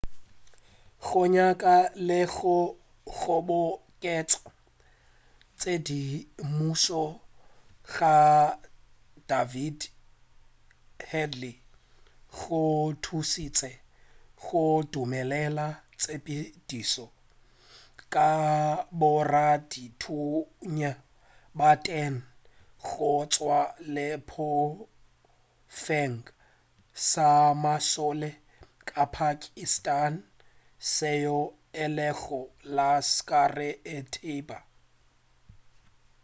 go nyaka le go kgoboketša tshedimušo ga david headley go thušitše go dumelela tshepedišo ka boradithunya ba 10 go tšwa sehlopheng sa mašole sa pakistan seo e lego laskhar-e-taiba